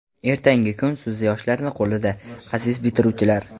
Ertangi kun siz yoshlarni qo‘lida aziz bitiruvchilar.